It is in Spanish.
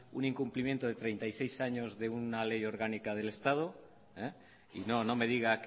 un incumplimiento de treinta y seis años de una ley orgánica del estado y no no me diga